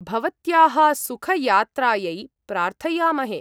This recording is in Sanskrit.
भवत्याः सुखयात्रायै प्रार्थयामहे।